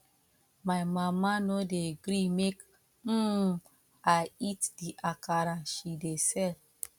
my mama no dey gree make um i eat the akara she dey sell